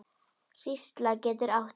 Hrísla getur átt við